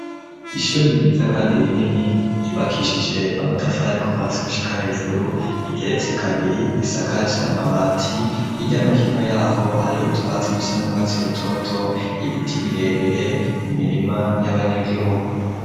Ishuri ryiza kandi rinini, ryubakishije amatafari kuva hasi gushika hejuru, igeretse kabiri, isakaje amabati; hirya no hino y'aho hari utwatsi dusa n'urwatsi rutoto, ibiti birebire, imirima y'abanyagihugu.